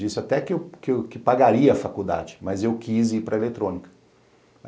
Disse até que que pagaria a faculdade, mas eu quis ir para a eletrônica.